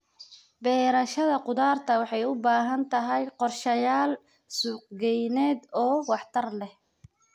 Beerashada khudaarta waxay u baahan tahay qorshayaal suuqgeyneed oo waxtar leh.